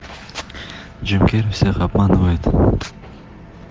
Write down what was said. джим керри всех обманывает